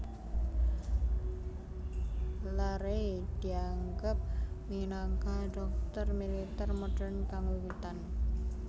Larrey dianggep minangka dhokter militer modern kang wiwitan